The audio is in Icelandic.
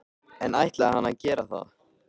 En ætlaði hann að gera það?